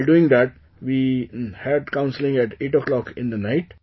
While doing that, we had counselling at 8 o'clock in the night